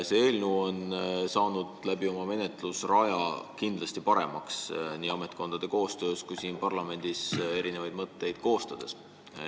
See eelnõu on oma menetlusrajal nii ametkondade koostöös kui siin parlamendis pärast mõtete vahetamist kindlasti paremaks läinud.